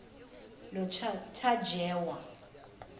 notajewa